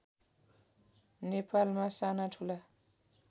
नेपालमा साना ठुला